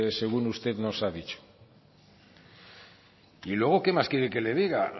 según usted nos ha dicho y luego que más quiere que le diga